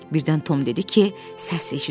Birdən Tom dedi ki, səs eşidir.